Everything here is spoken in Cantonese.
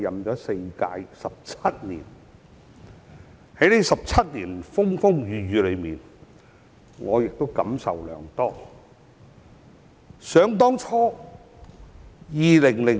在這17年的風風雨雨裏，我感受良多。